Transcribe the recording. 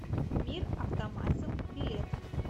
мир автомасел билет